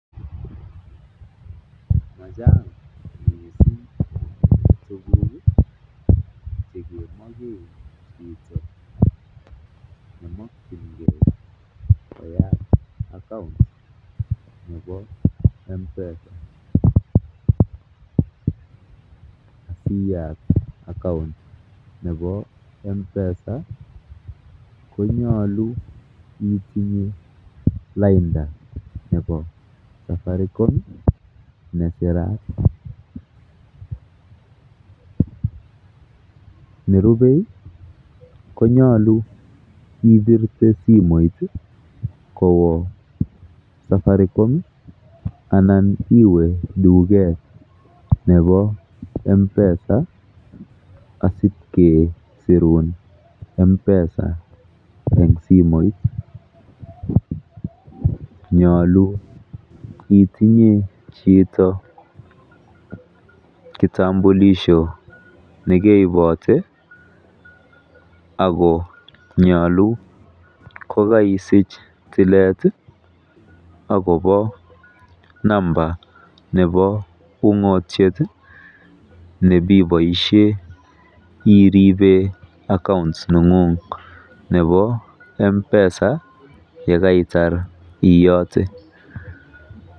Machang mising tuguk che kemoken chito nemokinge koyat account nebo M-Pesa. Iyat account nebo M-Pesa konyolu itinye lainda nebo Safaricom nesirat. Ne rupe konyolu ibirte simoit kowo Safaricom anan iwe duket nebo M-Pesa asi kesirun M-Pesa en simoit. Nyolu itinye chito kitambulisho ne keibote ago nyolu kogaisich tilet agobo number nebo ung'otiet ne bi boisien iripe account neng'ung nebo M-Pesa ye kaitar iyote.